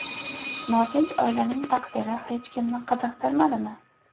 Notinch oilaning taqdiri hech kimni qiziqtirmadimi?